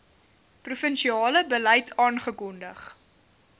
provinsiale beleid afgekondig